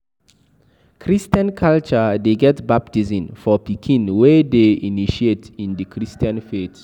Christain culture de get baptism for pikin wey de initiate in the Christian faith